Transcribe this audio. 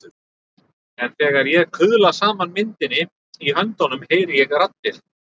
En þegar ég kuðla saman myndinni í höndunum heyri ég raddir.